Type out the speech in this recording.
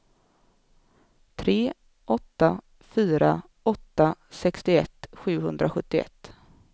tre åtta fyra åtta sextioett sjuhundrasjuttioett